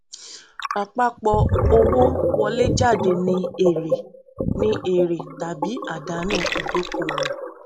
àpapọ owó wọléjáde ni èrè ni èrè tàbí àdánù ìdókòwò